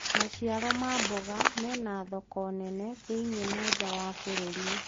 maciaro ma mboga mena thoko nene thi-inĩ na njaa wa bururi